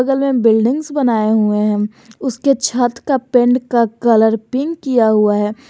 बगल में बिल्डिंग्स बनाए हुए हैं उसके छत का पेंट का कलर पिंक किया हुआ है।